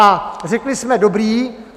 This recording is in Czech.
A řekli jsme, dobrý.